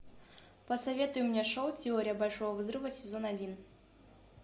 посоветуй мне шоу теория большого взрыва сезон один